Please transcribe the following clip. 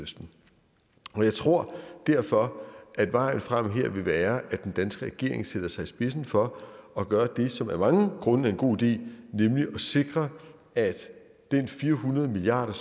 og mellemøsten jeg tror derfor at vejen frem her vil være at den danske regering sætter sig i spidsen for at gøre det som af mange grunde er en god idé nemlig at sikre at den fire hundrede milliard